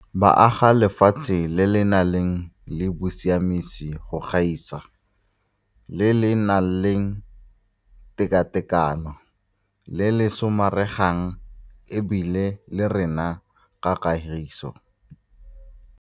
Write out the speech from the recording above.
Ka ditiro tsa bona, ba aga lefatshe le le nang le bosiamisi go gaisa, le le nang le tekatekano, le le somaregang e bile le rena ka kagiso.